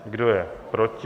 Kdo je proti?